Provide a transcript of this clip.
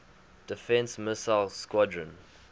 defense missile squadron